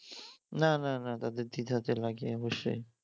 না না তাদের দ্বিধাতে লাগে অবশ্যই